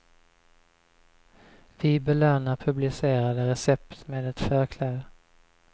Vi belönar publicerade recept med ett förkläde.